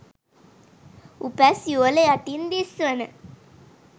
උපැස් යුවළ යටින් දිස්වන